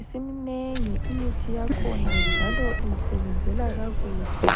Isiminengi imithi yakhona njalo ingisebenzela kakuhle.